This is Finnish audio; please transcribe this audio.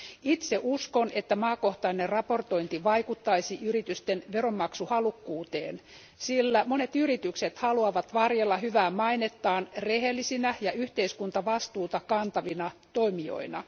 Itse uskon, että maakohtainen raportointi vaikuttaisi yritysten veronmaksuhalukkuuteen, sillä monet yritykset haluavat varjella hyvää mainettaan rehellisinä ja yhteiskuntavastuuta kantavina toimijoina.